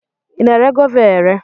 ị na-ere Gova a ere?